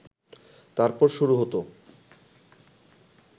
তারপর শুরু হত